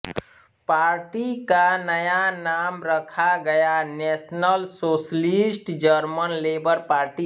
party का नया नाम रखा गया national socialist German labour party